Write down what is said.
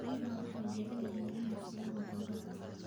Riyaha waxay jecel yihiin inay fuulaan buuraha.